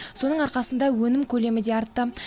соның арқасында өнім көлемі де артты